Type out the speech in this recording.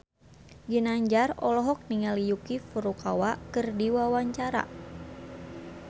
Ginanjar olohok ningali Yuki Furukawa keur diwawancara